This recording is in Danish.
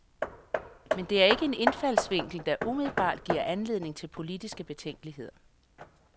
Men det er ikke en indfaldsvinkel, der umiddelbart giver anledning til politiske betænkeligheder.